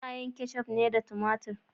Ana yin keccuf ne da tumatur.